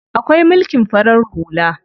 Akwai mulkin farar hula.